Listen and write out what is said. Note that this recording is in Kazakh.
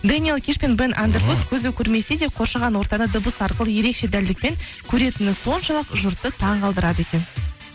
дэниел киш пен бен андервуд көзі көрмесе де қоршаған ортада дыбыс арқылы ерекше дәлдікпен көретіні соншалық жұртты таң қалдырады екен